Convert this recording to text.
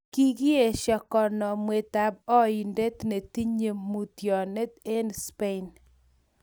kokiesho konomwetab oindet netinye 'mutyonet' eng Spain